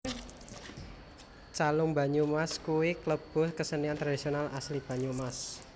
Calung Banyumasan kuwe kelebu kesenian tradisionil asli Banyumas